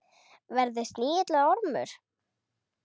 Verði snigill eða ormur.